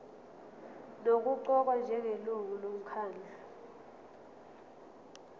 nokuqokwa njengelungu lomkhandlu